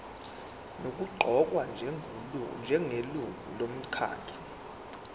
nokuqokwa njengelungu lomkhandlu